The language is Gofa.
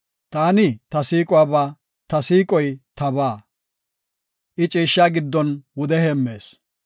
Taani ta siiquwaba; ta siiqoy tabaa; I ciishsha giddon wude heemmees.